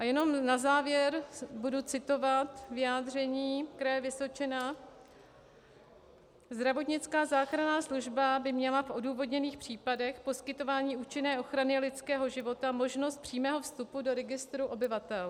A jenom na závěr budu citovat vyjádření kraje Vysočina: "Zdravotnická záchranná služba by měla v odůvodněných případech poskytování účinné ochrany lidského života možnost přímého vstupu do registru obyvatel.